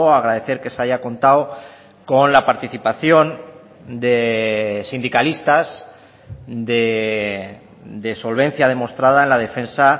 agradecer que se haya contado con la participación de sindicalistas de solvencia demostrada en la defensa